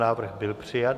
Návrh byl přijat.